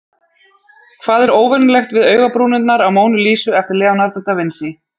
Hvað er óvenjulegt við augabrúnirnar á Mónu Lísu eftir Leonardo da Vinci?